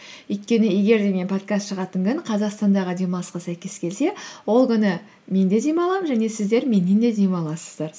өйткені егер де мен подкаст шығатын күн қазақстандағы демалысқа сәйкес келсе ол күні мен де демаламын және сіздер меннен де демаласыздар